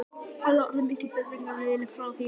Hafa orðið miklar breytingar á liðinu frá því í fyrra?